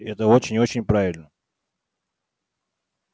и это очень и очень правильно